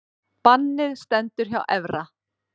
Bannið stendur hjá Evra